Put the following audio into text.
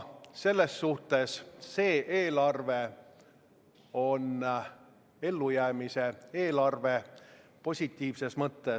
Selles suhtes on see eelarve ellujäämise eelarve positiivses mõttes.